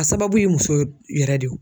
A sababu ye muso yɛrɛ de ye o.